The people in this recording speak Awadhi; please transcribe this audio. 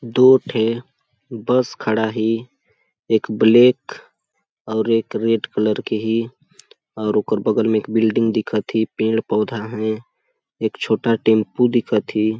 दो ठे बस खड़ा ही एक ब्लैक और एक रेड कलर के ही और ओकर बगल में एक बिल्डिंग दिखत ही पेड़ -पौधा है एक छोटा टेम्पो दिखत ही --